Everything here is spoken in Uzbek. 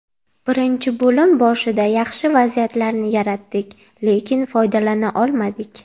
Birinchi bo‘lim boshida yaxshi vaziyatlarni yaratdik, lekin foydalana olmadik.